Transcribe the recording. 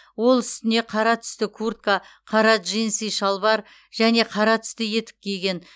ол үстіне қара түсті куртка қара джинсы шалбар және қара түсті етік киген